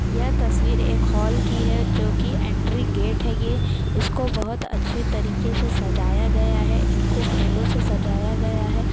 यह तस्वीर एक हॉल की है जो कि ऐंट्री गेट है ये। इसको बहोत अच्छी तरीके से सजाया गया है इनको फूलों से सजाया गया है।